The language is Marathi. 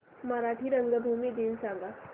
मराठी रंगभूमी दिन सांगा